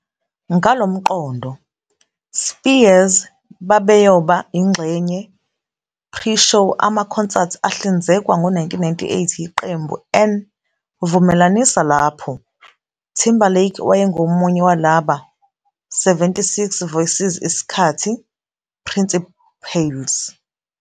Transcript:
Ngalo mqondo, Spears babeyoba ingxenye pre-show amakhonsathi ahlinzekwa ngo-1998 yiqembu 'N Vumelanisa lapho Timberlake wayengomunye walaba 76 voices isikhathi principales.